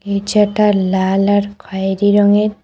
নিচেটা লাল আর খয়েরী রঙের।